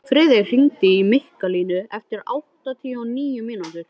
Friðey, hringdu í Mikkalínu eftir áttatíu og níu mínútur.